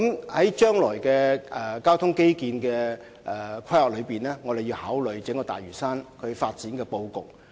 在將來進行交通基建規劃的時候，我們須考慮整個大嶼山發展的布局。